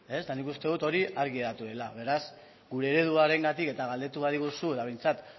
eta nik uste dut hori argi geratu dela beraz gure ereduarengatik eta galdetu badiguzu eta behintzat